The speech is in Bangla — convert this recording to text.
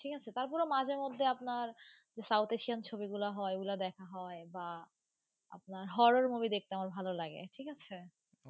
ঠিক আছে, তারপরে মাঝে মধ্যে আপনার south asian ছবিগুলো হয় ওগুলা দেখা হয় বা আপনার horror movie দেখতে আমার ভালো লাগে, ঠিক আছে।